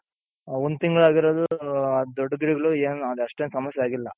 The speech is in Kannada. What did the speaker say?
ಒಂದ್ ತಿಂಗಳಾಗಿರೋದು ದೊಡ್ಗಿಡಗಳು ಏನೂ ಅಷ್ಟೇನು ಸಮಸ್ಯೆ ಆಗಿಲ್ಲ.